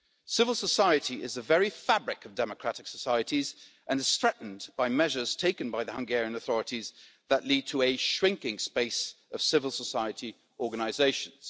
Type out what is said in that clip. Civil society is the very fabric of democratic societies and is threatened by measures taken by the Hungarian authorities that lead to a shrinking space for civil society organisations.